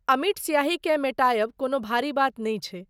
अमिट स्याहीकेँ मेटायब कोनो भारी बात नै छै।